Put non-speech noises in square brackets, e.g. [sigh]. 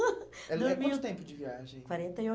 [laughs] Dormi um... Era quanto tempo de viagem? Quarenta e